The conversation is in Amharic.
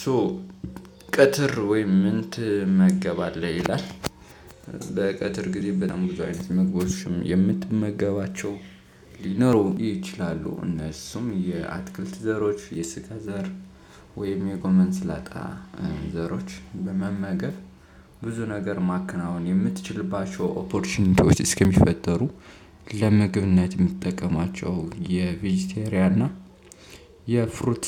ሶ ቀትር ወይም ምን ትመገባለህ ይላል? በቀትር ጊዜ በጣም ብዙ አይነት ምግቦች የምትመገባቸው ሊኖሩ ይችላሉ እነሱም የአትክልት ዘሮች የስንዴ ዘር ወይም የጎመን ስላጣ ዘሮች በመመገብ ብዙ ነገር ማከናወን የምትችልባቸው ኦፖርቹኒቲዎች እስከሚፈጠሩ ለምግብነት የምትጠቀማቸው የቬጂቴሪያ እና የፍሩት